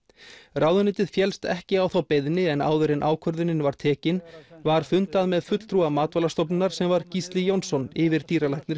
ráðuneytið féllst ekki á þá beiðni en áður en ákvörðunin var tekin var fundað með fulltrúa Matvælastofnunar sem var Gísli Jónsson yfirdýralæknir